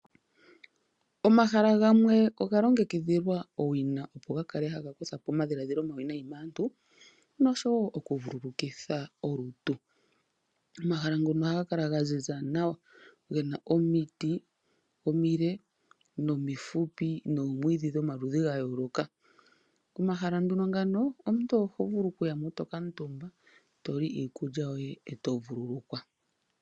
Omahala gamwe oga longekidhilwa owina opo ga kale haga kutha po omadhiladhilo omawinayi maantu nosho wo vululukitha olutu. Omahala ngono ohaga kala gaziza nawa ,gena omiti omile nomifupi noomwiidhi dhomaludhi gayooloka. Omahala nduno ngano omuntu oho vulu okuya mo eto kamutumba ,eto li iikulya yoye eto vululukwa.